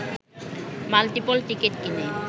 multiple ticket কিনে